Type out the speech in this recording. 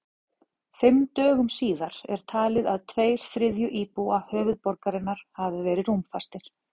Fimm dögum síðar er talið að tveir þriðju íbúa höfuðborgarinnar hafi verið rúmfastir.